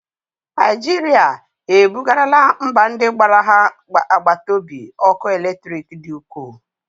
Naijirịa e bugarala mba ndị gbara ha agbata obi ọkụ eletriki dị ukwuu